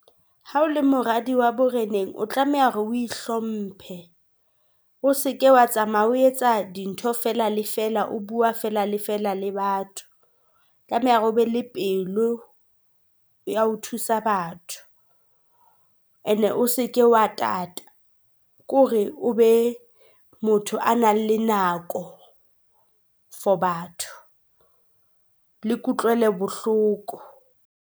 Ha o le moradi wa boreneng, o tlameha hore o ihlomphe, o seke wa tsamaya o etsa dintho fela le fela o bua fela le fela le batho. Tlameha hore obe le pelo ya ho thusa batho, and o seke wa tata. Ke hore o be motho a nang le nako for batho le kutlwelo bohloko.